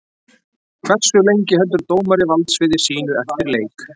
Hversu lengi heldur dómari valdsviði sínu eftir leik?